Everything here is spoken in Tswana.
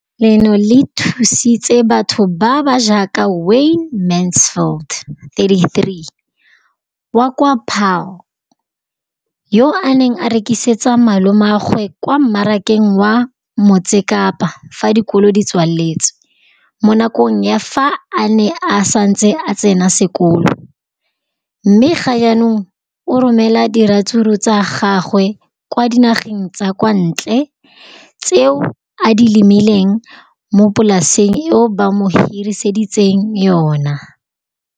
Leno le thusitse batho ba ba jaaka Wayne Mansfield, 33, wa kwa Paarl, yo a neng a rekisetsa malomagwe kwa Marakeng wa Motsekapa fa dikolo di tswaletse, mo nakong ya fa a ne a santse a tsena sekolo, mme ga jaanong o romela diratsuru tsa gagwe kwa dinageng tsa kwa ntle tseo a di lemileng mo polaseng eo ba mo hiriseditseng yona.